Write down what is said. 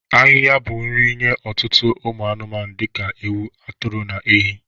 Ahịha bụ nri nye ọtụtụ ụmụ anụmanụ dị ka ewu, atụrụ na ehi.